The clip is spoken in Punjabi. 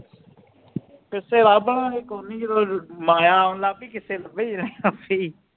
ਕਿੱਸੇ ਲਭਲਾਗੇ ਕੋਈ ਨਹੀਂ ਜਦੋ ਮਾਇਆ ਆਉਣ ਲੱਗ ਪੀ ਕਿੱਸੇ ਲਭੇ ਜਾਣੇ ਆਪੇ ਹੀ